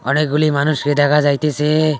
অনেকগুলি মানুষকে দেখা যাইতেসে।